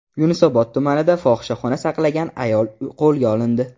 Yunusobod tumanida fohishaxona saqlagan ayol qo‘lga olindi.